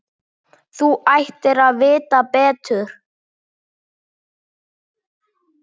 Þú ættir að vita betur!